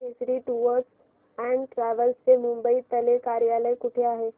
Kesari tours and travels चे मुंबई तले कार्यालय कुठे आहे